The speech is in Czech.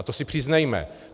A to si přiznejme.